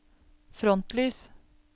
frontlys